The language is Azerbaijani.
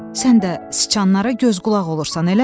Sən də siçanlara göz-qulaq olursan, eləmi?